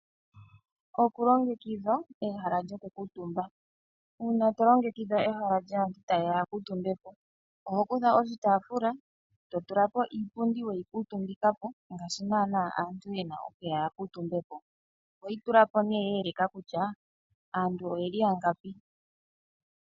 Okulongekidha ehala lyoku kuutumba. Uuna to longekidha ehala lyoku kuutumba, sno ehala lyasntu ta ye ya ya kuutumbepo, oho kutha oshi yaafula to tulapo iipundi we yi kuutumbikapo ngaashi nana aantu ta ye ya ya kuutumbepo. Oho yi tulapo ne ya eleka kutya aantu oye li yangapi.